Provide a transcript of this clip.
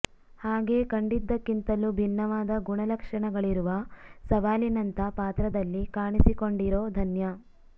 ಹಾಗೆ ಕಂಡಿದ್ದಕ್ಕಿಂತಲೂ ಭಿನ್ನವಾದ ಗುಣ ಲಕ್ಷಣಗಳಿರುವ ಸವಾಲಿನಂಥಾ ಪಾತ್ರದಲ್ಲಿ ಕಾಣಿಸಿಕೊಂಡಿರೋ ಧನ್ಯಾ